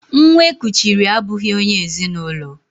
Nwa e kuchiri abụghị onye ezi na ụlọ